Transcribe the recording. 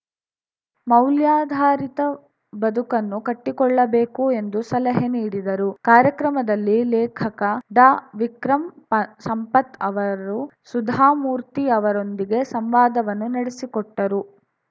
ಮೌಲ್ಯಾಧಾರಿತ ಬದುಕನ್ನು ಕಟ್ಟಿಕೊಳ್ಳಬೇಕು ಎಂದು ಸಲಹೆ ನೀಡಿದರು ಕಾರ್ಯಕ್ರಮದಲ್ಲಿ ಲೇಖಕ ಡಾವಿಕ್ರಂ ಪ ಸಂಪತ್‌ ಅವರು ಸುಧಾಮೂರ್ತಿ ಅವರೊಂದಿಗೆ ಸಂವಾದವನ್ನು ನಡೆಸಿಕೊಟ್ಟರು